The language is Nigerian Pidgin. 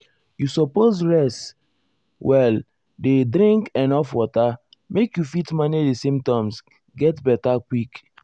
you suppose rest suppose rest well dey drink enuf water make you fit manage di symptoms get beta quick.